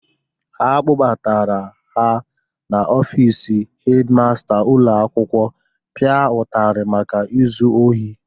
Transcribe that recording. A kpụbara ha n'ofiisi hedi masta ụlọ akwụkwọ pịa ụtarị maka izu ohi.